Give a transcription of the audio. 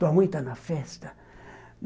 Tua mãe está na festa?